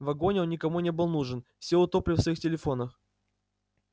в вагоне он никому не был нужен все утопли в своих телефонах